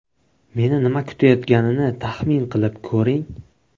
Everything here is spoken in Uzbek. Meni nima kutayotganini taxmin qilib ko‘ring!